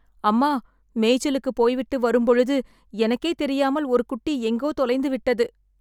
அம்மா, மேய்ச்சலுக்கு போய்விட்டு வரும்பொழுது எனக்கே தெரியாமல் ஒரு குட்டி எங்கோ தொலைந்து விட்டது